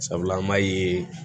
Sabula an b'a ye